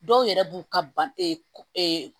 Dɔw yɛrɛ b'u ka ban